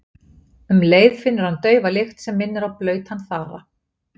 Um leið finnur hann daufa lykt sem minnir á blautan þara.